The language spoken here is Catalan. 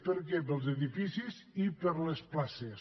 per a què per als edificis i per a les places